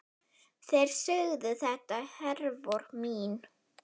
Þeir sögðu þetta, Hervör mín.